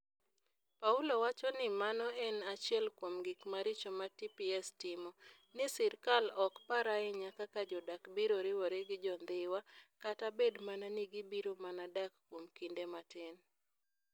Paulo wacho ni mano en achiel kuom gik maricho ma TPS timo - ni sirkal ok par ahinya kaka jodak biro riwore gi Jo-Dhiwa, kata bed mana ni gibiro mana dak kuom kinde matin.